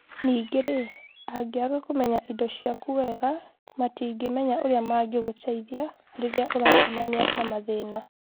Ningĩ-rĩ, angĩaga kũmenya indo ciaku wega, matingĩmenya ũrĩa mangĩgũteithia rĩrĩa ũracemania na mathĩna.